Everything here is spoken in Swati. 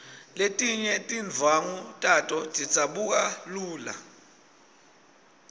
letinye tindvwangu tato tidzabuka lula